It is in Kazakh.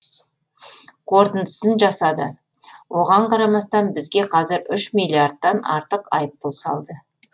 қорытындысын жасады оған қарамастан бізге қазір үш миллиардтан артық айыппұл салды